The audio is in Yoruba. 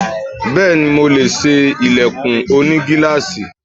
Bẹ́ẹ̀ni, mo lè ṣe ilẹ̀kùn oní gíláàsì.